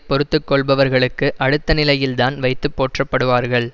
பொறுத்து கொள்பவர்களுக்கு அடுத்த நிலையில்தான் வைத்து போற்றப்படுவார்கள்